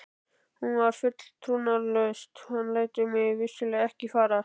Hún var full trúnaðartrausts: hann lætur mig vissulega ekki farast.